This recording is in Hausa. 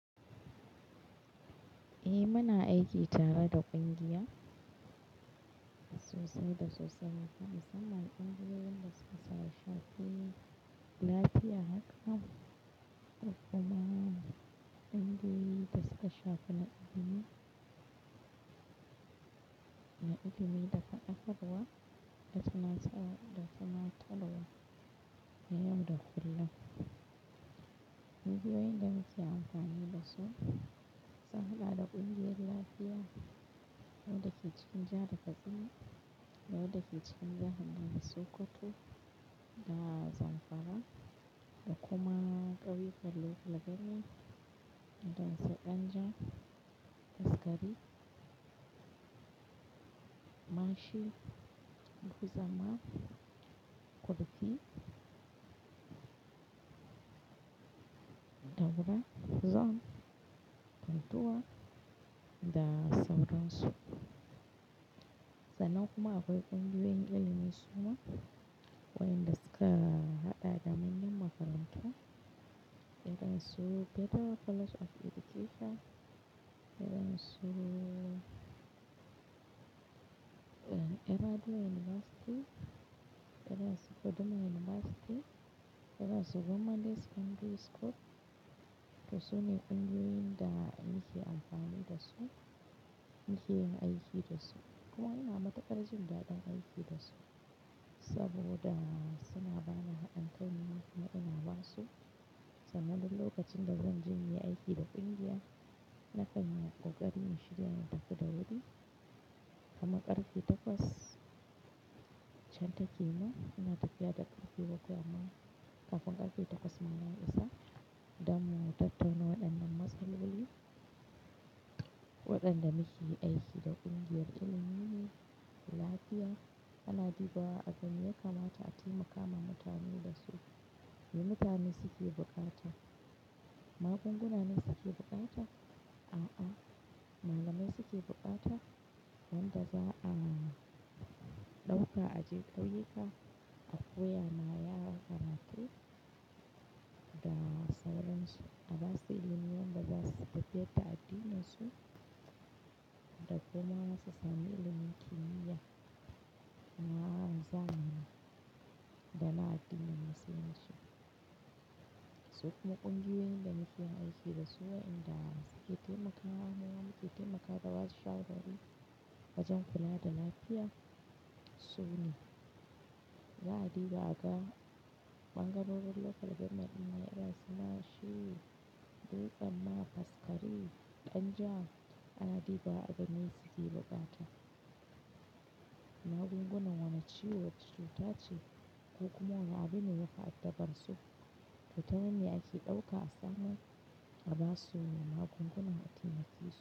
Eh mana aiki tare da ƙungiya sosai da sosai ma fa mussamman ƙungiyoyin da suka shafe lafiya haka da kuma kungiyoyin suka shafa na ilimi da fatakaruwa da suna talna yau da kullum. Ƙungiyoyin da muke amfani dasu suna da ƙungiyar lafiya, wanda ke cikin jahar katsina da daya dake cikin jahar Sokoto da Zamfara da kuma ƙauyukan Legas da Dan saƙanja, faskari, mashi, bukuzama, kurti, dabura, zone, funtuwa da sauransu. Sannan kuma akwai ƙungiyoyin ilimi suma wa'inda suka haɗa da mayan makarantu irin su Federal College of Education, irin su Ahmadu University, irin su Kaduna University, irin su Government Day Secondary School to sune ƙungiyoyin da muke amfani dasu, muke aiki dasu. Kuma ina matukar jin daɗin aiki dasu saboda suna bani hadin kai nima kuma ina ba su. Saboda lokacin da zan je yi aiki da ƙungiya, na kan yi ƙoƙari in shirya in tafi da wuri. Kuma ƙarfe takwas can take mu, ina tafiya da ƙarfe bakwai amma kafin ƙarfe takwas ma na isa dan mu tattauna waɗannan matsaloli, waɗanda muke aiki da ƙungiyar ilimi ne, lafiya ana dibawa a ga me yakamata a taimaka ma mutane dasu. Me mutane suke buƙata? Magunguna ne suke buƙata? A'a, malamai suke buƙata wanda za'a ɗauka aje ƙauyuka a koya ma yara karatu da sauransu. Abasu ilimi yanda zasu tafiyar da addininsu da kuma su samu ilimi kimiya na zamani da na addinin Musulunci. Su kuma ƙungiyoyin da muke aiki dasu wai inda suke taimakawa, muma muke taimakawa da basu shawarwari wajen kula da lafiya su ne. A diba aga ɓangarorin local government ɗin nan irin su mashe, dutemma, faskari, ɗanja ana dibawa a ga meye suke buƙata. Magungunan wani ciwo wacce cuta ce ko kuma wa abune yafi addabar su. Fita ne ake ɗauka a sannan abasuwu magungunan a taimake su.